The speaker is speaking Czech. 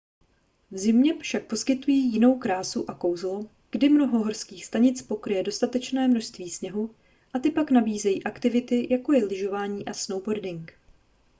v zimě však poskytují jinou krásu a kouzlo kdy mnoho horských stanic pokryje dostatečné množství sněhu a ty pak nabízejí aktivity jako je lyžování a snowboarding